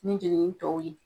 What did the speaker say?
Ni jɛɲɔgɔn tɔw ye.